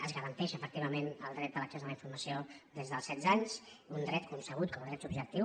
es garanteix efectivament el dret a l’accés a la informació des dels setze anys un dret concebut com a dret subjectiu